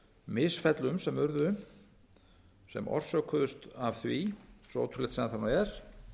misfellum sem urðu sem orsökuðust af því svo ótrúlegt sem það er